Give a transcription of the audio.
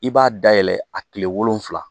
I b'a dayɛlɛ a tile wolonfila.